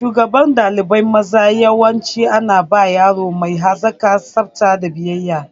Shugaban ɗalibai maza yawanci ana ba yaro mai hazaƙa, tsafta da biyayya.